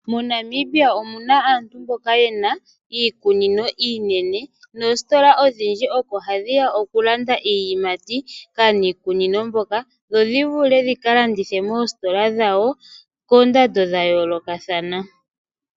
MoNamibia omuna aantu mboka yena iikunino iinene, noositola odhindji oko hadhi ya oku landa iiyimati kaaniikunino mboka dho shi vule dhi ka landithe moositola dhawo koondando dhayoolokathana.